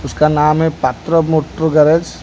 उसका नाम है पत्रो मोटरो गरज ।